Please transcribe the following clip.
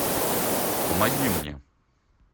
помоги мне